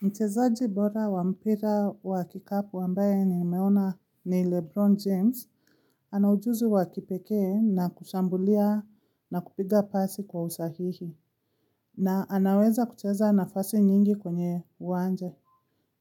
Mchezaji bora wa mpira wa kikapu ambaye nimeona ni Lebron James. Ana ujuzi wa kipekee na kushambulia na kupiga pasi kwa usahihi. Na anaweza kucheza nafasi nyingi kwenye uwanja.